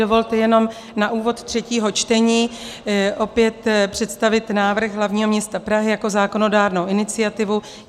Dovolte jenom na úvod třetího čtení opět představit návrh hlavního města Prahy jako zákonodárnou iniciativu.